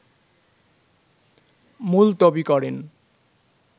মুলতবি করেন